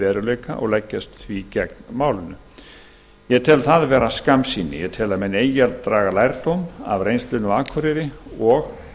veruleika og leggjast því gegn málinu ég tel það vera skammsýni ég tel að menn eigi að draga lærdóm af reynslunni á akureyri og